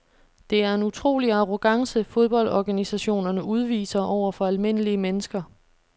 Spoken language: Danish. Det er en utrolig arrogance fodboldorganisationerne udviser over for almindelige mennesker.